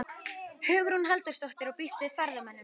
Hugrún Halldórsdóttir: Og býstu við ferðamönnum?